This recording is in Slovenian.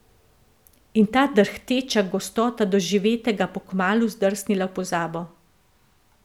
In ta drhteča gostota doživetega bo kmalu zdrsnila v pozabo.